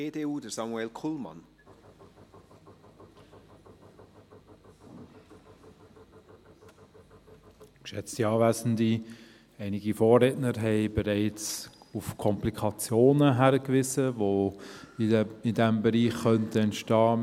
Einige Vorredner haben bereits auf die Komplikationen hingewiesen, welche in diesem Bereich entstehen könnten.